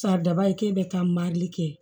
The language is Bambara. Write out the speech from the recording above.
Saridaba ye ke bɛ taa marili kɛ